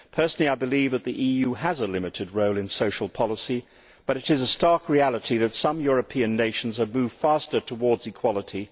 Personally, I believe that the EU has a limited role in social policy, but it is a stark reality that some European nations have moved faster towards equality.